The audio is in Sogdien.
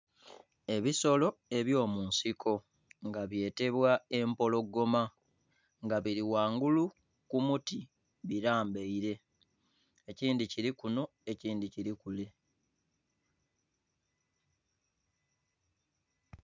Ebisolo eby'omunsiko nga byetebwa empologoma, nga biri ghangulu ku muti bilambaire. Ekindhi kili kuno, ekindhi kili kule.